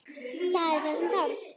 Það er það sem þarf.